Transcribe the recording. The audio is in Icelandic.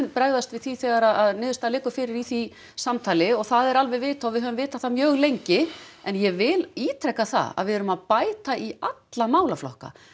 bregðast við því þegar niðurstaða liggur fyrir í því samtali og það er alveg vitað og við höfum vitað það mjög lengi en ég vil ítreka það að við erum að bæta í alla málaflokka